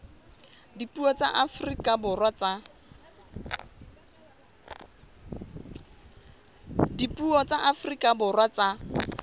dipuo tsa afrika borwa tsa